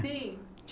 Sim.